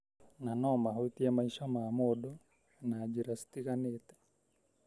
na nomahutie maica ma mũndũ na njĩra citiganĩte.